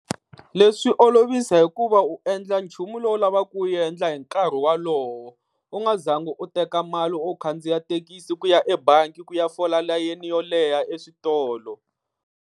Leswi olovisa hikuva u endla nchumu lowu lavaka ku wu endla hi nkarhi wolowo, u nga zangi u teka mali u khandziya thekisi ku ya ebangi ku ya fola layeni yo leha eswitolo.